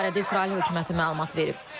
Bu barədə İsrail hökuməti məlumat verib.